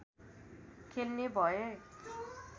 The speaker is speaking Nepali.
खेल्ने भए